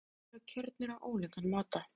Forsetar deildanna eru kjörnir á ólíkan máta.